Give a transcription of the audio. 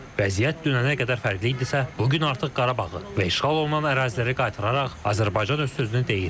Vəziyyət dünənə qədər fərqli idisə, bu gün artıq Qarabağı və işğal olunan əraziləri qaytararaq Azərbaycan öz sözünü deyir.